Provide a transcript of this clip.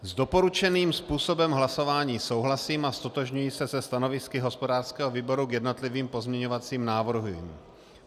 S doporučeným způsobem hlasování souhlasím a ztotožňuji se se stanovisky hospodářského výboru k jednotlivým pozměňovacím návrhům.